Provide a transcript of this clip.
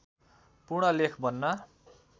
पूर्ण लेख बन्न